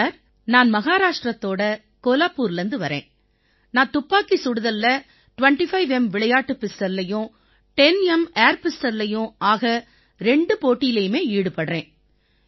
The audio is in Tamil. சார் நான் மஹாராஷ்டிரத்தோட கோலாபூர்லேர்ந்து வர்றேன் நான் துப்பாக்கிச் சுடுதல்ல 25எம் விளையாட்டுப் பிஸ்டல்லயும் 10எம் ஏர் பிஸ்டல்லயும் ஆக ரெண்டு போட்டிலயுமே ஈடுபடுறேன்